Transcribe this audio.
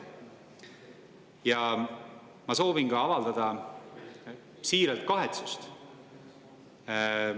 Ja ma soovin ka avaldada siirast kahetsust.